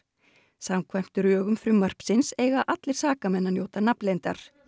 samkvæmt drögum frumvarpsins eiga allir sakamenn að njóta nafnleyndar